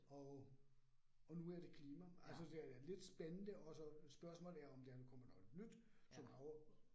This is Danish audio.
Og, og nu er det klima. Altså det er lidt spændende også spørgsmålet er om, der kommer noget nyt, som er oppe